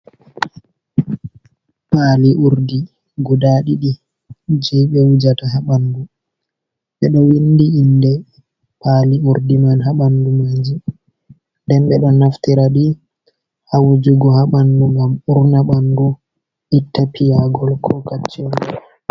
Pali urdi guda ɗiɗi, je ɓe wujata ha bandu, ɓe ɗo windi inde pali urdi man ha ɓandu maji, nden ɓe ɗo naftira ɗi ha wujugo ha ɓandu, ngam urna ɓandu itta piyagol ko kacce nga.